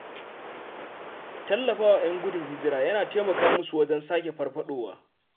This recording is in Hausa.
Tallafawa ‘yan gudun hijira yana taimaka musu wajen sake farfaɗowa.